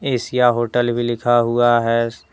Asia hotel भी लिखा हुआ है।